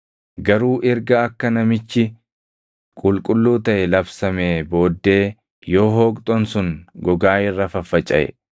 Garuu erga akka namichi qulqulluu taʼe labsamee booddee yoo hooqxoon sun gogaa irra faffacaʼe,